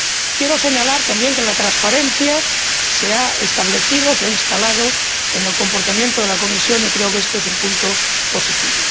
Quiero señalar, además, que la transparencia se ha establecido, se ha instalado en el comportamiento de la Comisión y creo que este es un punto positivo.